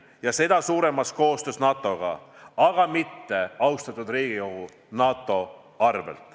Ja seda suuremas koostöö NATO-ga, aga mitte, austatud Riigikogu, NATO arvel.